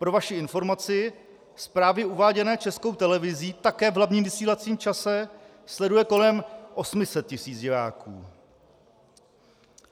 Pro vaši informaci, zprávy uváděné Českou televizí také v hlavním vysílacím čase sleduje kolem 800 tisíc diváků.